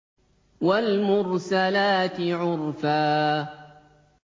وَالْمُرْسَلَاتِ عُرْفًا